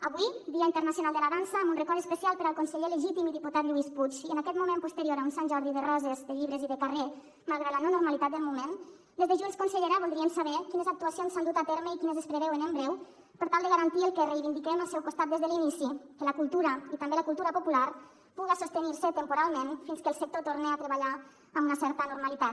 avui dia internacional de la dansa amb un record especial per al conseller legítim i diputat lluís puig i en aquest moment posterior a un sant jordi de roses de llibres i de carrer malgrat la no normalitat del moment des de junts consellera voldríem saber quines actuacions s’han dut a terme i quines es preveuen en breu per tal de garantir el que reivindiquem al seu costat des de l’inici que la cultura i també la cultura popular puguen sostenir se temporalment fins que el sector torne a treballar amb una certa normalitat